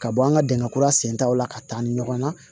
Ka bɔ an ka dingɛ kura sen taw la ka taa ni ɲɔgɔn ye